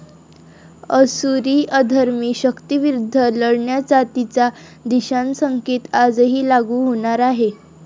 असुरी अधर्मी शक्तींविरुद्ध लढण्याचा तिचा दिशासंकेत आजही लागू होणार आहे.